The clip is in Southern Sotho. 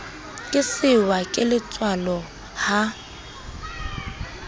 ke sehwa ke letswalo ha